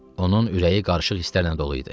Onun ürəyi qarışıq hisslərlə dolu idi.